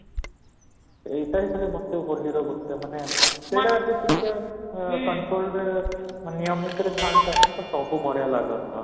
ଏଇଟା ହିଁ ଖାଲି ହୋଲିର ଗୋଟେ ମାନେ ସେଇଟା actually ଟିକେ control ରେ ନିୟମିତ ଥାଆନ୍ତା ନା ତ ସବୁ ବଢିଆ ଲଗନ୍ତା